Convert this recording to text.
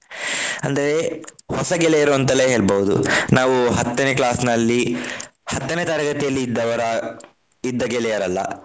ಅಂದ್ರೆ ಹೊಸ ಗೆಳೆಯರು ಅಂತಲೇ ಹೇಳ್ಬಹುದು. ನಾವು ಹತ್ತನೇ class ನಲ್ಲಿ ಹತ್ತನೇ ತರಗತಿಯಲ್ಲಿ ಇದ್ದವರ ಇದ್ದ ಗೆಳೆಯರಲ್ಲ.